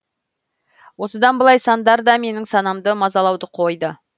осыдан былай сандар да менің санамды мазалауды қойды